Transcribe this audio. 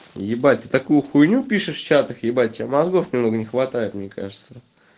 ебать ты такую хуйню пишешь в чатах ебать тебе мозгов не хватает мне кажется